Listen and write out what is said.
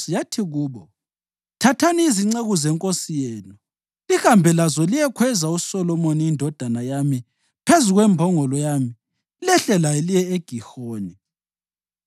yathi kubo: “Thathani izinceku zenkosi yenu lihambe lazo liyekhweza uSolomoni indodana yami phezu kwembongolo yami lehle laye liye eGihoni.